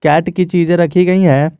Cat की चीजें रखी गई है।